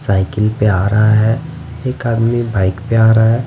Cycle पे आ रहा है एक आदमी बाइक पे आ रहा है।